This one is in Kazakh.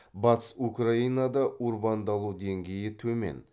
батыс украинада урбандалу деңгейі төмен